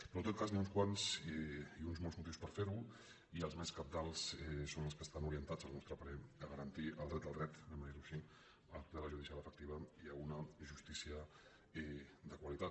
però en tot cas hi ha uns quants i uns molts motius per fer·ho i els més cabdals són els que estan orientats al nostre parer a garantir el dret al dret diguem·ho ai·xí a la tutela judicial efectiva i a una justícia de qua·litat